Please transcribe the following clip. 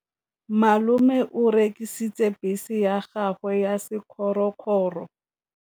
Malome o rekisitse bese ya gagwe ya sekgorokgoro.